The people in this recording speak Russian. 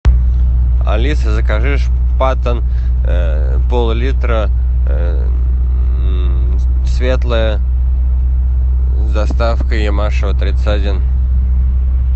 алиса закажи шпатен пол литра светлое с доставкой ямашева тридцать один